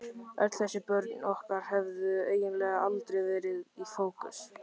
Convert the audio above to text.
Öll þessi börn okkar hefðu eiginlega aldrei verið í fókus.